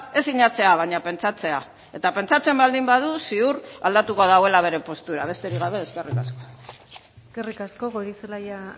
ez sinatzea baina pentsatzea eta pentsatzen baldin badu ziur aldatuko duela bere postura besterik gabe eskerrik asko eskerrik asko goirizelaia